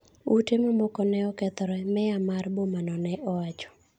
Ute mamoko ne okethore, meya mar boma no ne owacho.